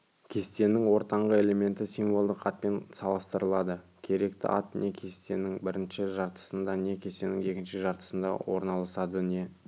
кестенің ортаңғы элементі символдық атпен салыстырылады керекті ат не кестенің бірінші жартысында не кестенің екінші жартысында орналасады не